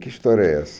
Que história é essa?